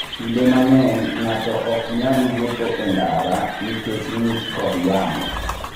Kinde mang'eny, ng'ato ok nyal wuotho e ndara nikech ng'ich kod yamo.